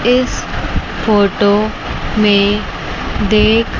इस फोटो में देख--